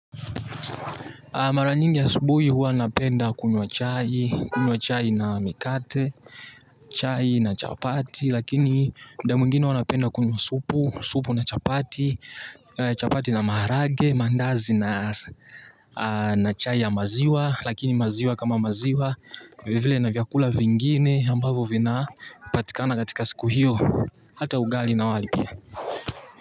Maranyingi asubuhi huwa napenda kunywa chai, kunywa chai na mikate, chai na chapati, lakini muda mwingine huwa napenda kunywa supu, supu na chapati, chapati na maharagwe, mandazi na na chai ya maziwa, lakini maziwa kama maziwa, vile vile na vyakula vingine ambavyo vina patikana katika siku hiyo, hata ugali na wali pia.